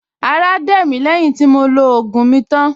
Ará dẹ̀ mí lẹ́yìn tí mo lo ògùn mi tán